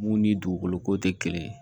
Mun ni dugukolo ko tɛ kelen ye